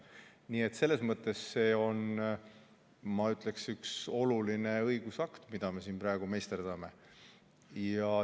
Nii et selles mõttes see on, ma ütleksin, üks oluline õigusakt, mida me siin praegu meisterdame.